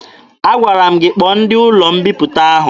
Agwara m gị kpọọ ndị ụlọ mbiputa ahụ!